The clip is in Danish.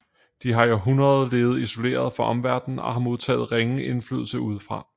De har i århundreder levet isoleret fra omverdenen og har modtaget ringe indflydelse udefra